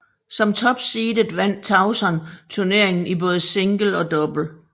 Som topseedet vandt Tauson turneringen i både single og double